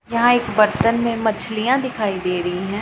यहां एक बर्तन में मछलियां दिखाई दे रही है।